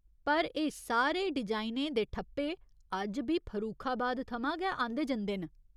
पर एह् सारे डिजाइनें दे ठप्पे अज्ज बी फरूखाबाद थमां गै आंह्दे जंदे न।